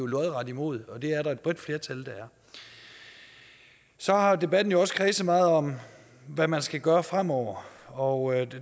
lodret imod og det er der et bredt flertal der er så har debatten jo også kredset meget om hvad man skal gøre fremover og